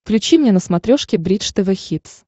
включи мне на смотрешке бридж тв хитс